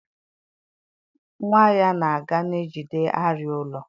Nwa ya na-aga na-ejide arịa ụlọ.